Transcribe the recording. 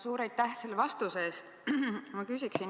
Suur aitäh selle vastuse eest!